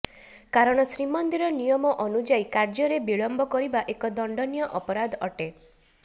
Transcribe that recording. କାରଣ ଶ୍ରୀମନ୍ଦିର ନିୟମ ଅନୁଯାଇ କାର୍ଯ୍ୟରେ ବିଲମ୍ବ କରିବା ଏକ ଦଣ୍ଡନୀୟ ଅପରାଧ ଅଟେ